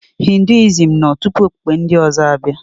Hinduism nọ tupu okpukpe ndị ọzọ abịa.